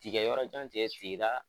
Tigɛ yɔrɔ jan cɛ sigi i ka